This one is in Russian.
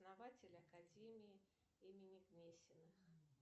основатель академии имени гнесиных